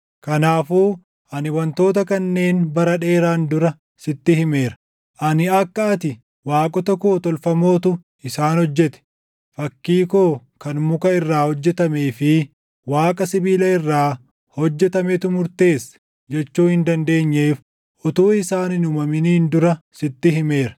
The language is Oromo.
Kanaafuu ani wantoota kanneen bara dheeraan dura sitti himeera; ani akka ati, ‘waaqota koo tolfamootu isaan hojjete; fakkii koo kan muka irraa hojjetamee fi waaqa sibiila irraa hojjetametu murteesse’ // jechuu hin dandeenyeef utuu isaan hin uumaminiin dura sitti himeera.